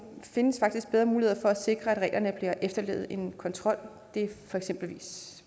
findes faktisk bedre muligheder for at sikre at reglerne bliver efterlevet end kontrol det er for eksempel